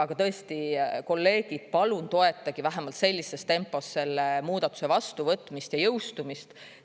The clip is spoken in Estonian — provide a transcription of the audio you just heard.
Aga tõesti, kolleegid, palun toetage vähemalt sellises tempos selle muudatuse vastuvõtmist ja jõustumist.